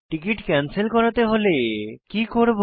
ticket cancel করাতে হলে কি করব